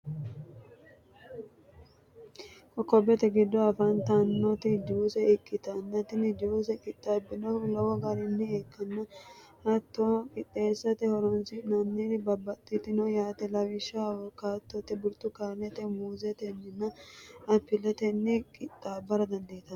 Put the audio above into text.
cocobbete giddo afantannoti juice ikitanna tinni juice qixabannohu lowo garinii ikkana hatono qixeesate horonisinnannirinno baxano yaate lawishshaho awukaadotenni, buritukaanetenni, muuzeteniina apiletenni qixaabara dandiitanno.